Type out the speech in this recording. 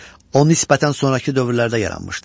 O nisbətən sonrakı dövrlərdə yaranmışdır.